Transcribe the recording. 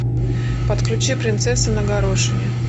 подключи принцесса на горошине